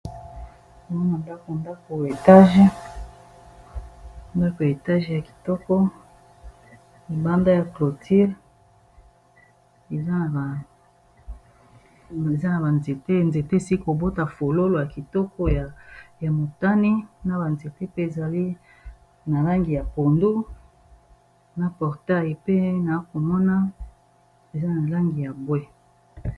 omoma ndako ndako ndako etage ya kitoko libanda ya cloture eza na banzete enzetesi kobota fololo ya kitoko ya motani na banzete pe ezali na langi ya pondu na portail pe na komona eza na langi ya bwe.